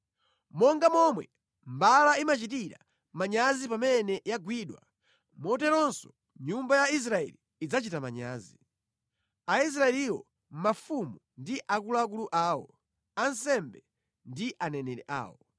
“Monga momwe mbala imachitira manyazi pamene yagwidwa, moteronso nyumba ya Israeli idzachita manyazi; Aisraeliwo, mafumu ndi akuluakulu awo, ansembe ndi aneneri awo.